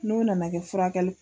N'o nana kɛ furakɛli